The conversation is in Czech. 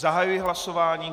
Zahajuji hlasování.